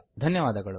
ಧನ್ಯವಾದಗಳು